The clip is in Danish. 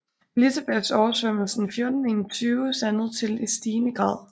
Elizabeths oversvømmelsen 1421 sandede til i stigende grad